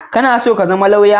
Kana so ka zama lawyer?